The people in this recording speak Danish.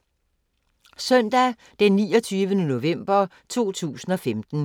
Søndag d. 29. november 2015